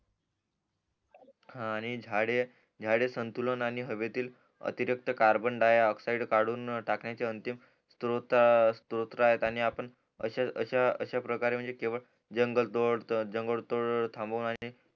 हा आणि झाडे झाडे संतुलन हवेतील अतेरिक्त कार्बन डॉओक्ससाइड कडून टाकण्याचे अंतिम स्तोत्र आहेत आणि आपण अश्या अश्या प्रकारे म्हणजे केवळ जगल तोड जंगल तोड थांबवू आणि